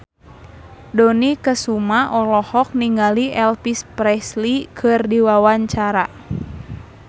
Dony Kesuma olohok ningali Elvis Presley keur diwawancara